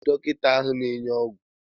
Onye bụ onye dọkịta ahụ na-enye ogwu?